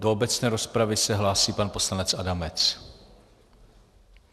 Do obecné rozpravy se hlásí pan poslanec Adamec.